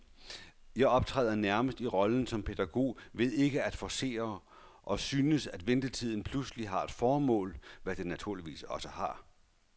Jeg optræder nærmest i rollen som pædagog ved ikke at forcere, og synes, at ventetiden pludselig har et formål, hvad den naturligvis også har.